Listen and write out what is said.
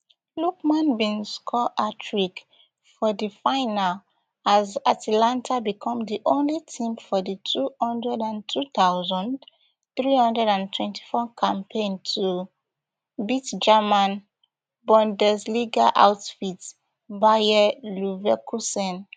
lookman bin score hattrick for di final as atalanta becom di only team for di two hundred and two thousand, three hundred and twenty-four campaign to beat german bundesliga outfit bayer leverkusen